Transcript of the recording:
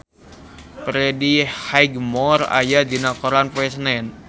Freddie Highmore aya dina koran poe Senen